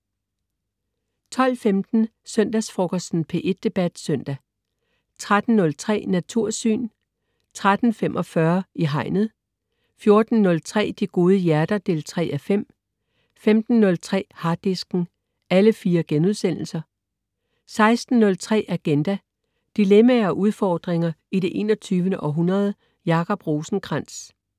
12.15 Søndagsfrokosten. P1 Debat Søndag 13.03 Natursyn* 13.45 I Hegnet* 14.03 De Gode Hjerter 3:5* 15.03 Harddisken* 16.03 Agenda. Dilemmaer og udfordringer i det 21. århundrede. Jacob Rosenkrands